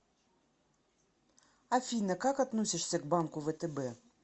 афина как относишься к банку втб